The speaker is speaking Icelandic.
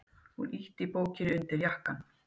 Hún ýtti bókinni undir jakkann.